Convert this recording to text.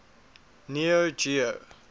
neo geo